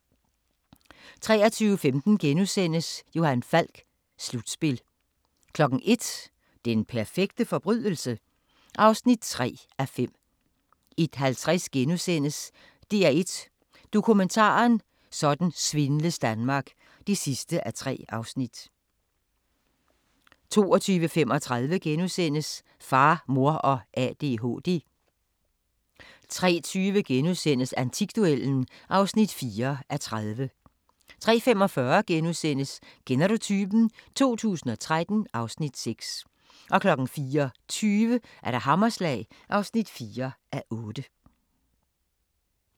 23:15: Johan Falk: Slutspil * 01:00: Den perfekte forbrydelse? (3:5) 01:50: DR1 Dokumentaren: Sådan svindles Danmark (3:3)* 02:35: Far, Mor og ADHD * 03:20: Antikduellen (4:30)* 03:45: Kender du typen? 2013 (Afs. 6)* 04:20: Hammerslag (4:8)*